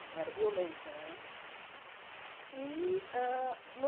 Não era violência, né? E hã